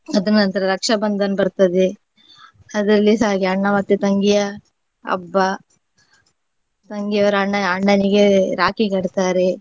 ಅದ್ರ ನಂತರ रक्षाबंधन ಬರ್ತದೆ. ಅದ್ರಲ್ಲಿಸ ಹಾಗೆ ಅಣ್ಣ ಮತ್ತೆ ತಂಗಿಯ ಹಬ್ಬ. ತಂಗಿಯವರು ಅಣ್ಣ ಅಣ್ಣನಿಗೆ ರಾಖಿ ಕಟ್ತಾರೆ.